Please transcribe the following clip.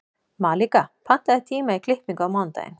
Malika, pantaðu tíma í klippingu á mánudaginn.